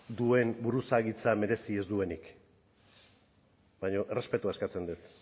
duen buruzagitza merezi ez duenik baina errespetua eskatzen dut